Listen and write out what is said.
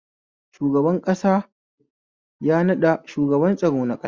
Shugaban ƙasa ya naɗa shugaban tsaro na ƙasa.